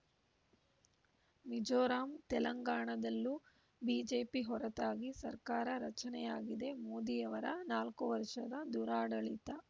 ಮಿಜೋರಾಂ ತೆಲಂಗಾಣದಲ್ಲೂ ಬಿಜೆಪಿ ಹೊರತಾಗಿ ಸರ್ಕಾರ ರಚನೆಯಾಗಿದೆ ಮೋದಿಯವರ ನಾಲ್ಕು ವರ್ಷದ ದುರಾಡಳಿತ